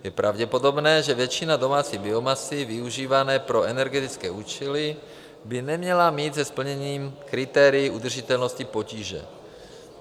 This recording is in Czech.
Je pravděpodobné, že většina domácí biomasy využívané pro energetické účely by neměla mít se splněním kritérií udržitelnosti potíže.